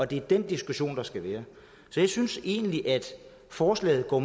det er den diskussion der skal være så jeg synes egentlig at forslaget